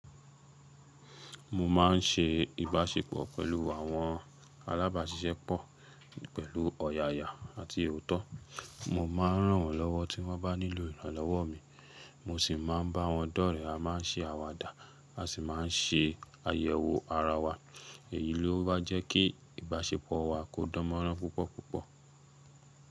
Mo máa ń ṣe ìbáṣepọ̀ pẹ̀lú àwọn alábàáṣiṣẹ́pọ̀ pẹ̀lú ọ̀yàyà àti otó. Mo ma ń ràn wọ́n lọ́wọ́ tí wọ́n bá nílò ìrànlọ́wọ́ mi, mo sì máa ń bá wọn dọ́rẹ̀. A máa ń ṣe àwàdà, a sì máa ń ṣe àyẹ̀wò ara wa. Èyí ló ma jẹ́ kí ìbáṣepọ̀ wa kó dánmọ́rán púpọ̀ púpọ̀.